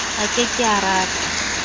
a ke ke a tata